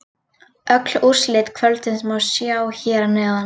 Öll úrslit kvöldsins má sjá hér að neðan